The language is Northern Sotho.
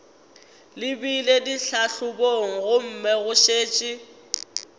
lebile ditlhahlobong gomme go šetše